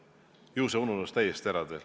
Ju see ununes teil täiesti ära.